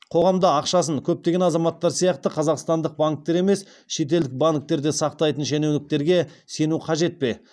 қоғамда ақшасын көптеген азаматтар сияқты қазақстандық банктерде емес шетелдік банктерде сақтайтын шенеуніктерге сену қажет пе